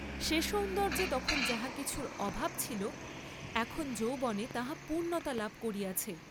সে সৌন্দর্য্যে তখন যাহা কিছুর অভাব ছিল, এখন যৌবনে তাহা পূর্ণতা লাভ করিয়াছে।